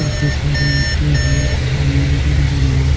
काफी सारी ईंटें हैं सामने बिल्डिंग है।